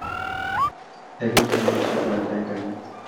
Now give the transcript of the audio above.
ekinjori oshitaata enkanyit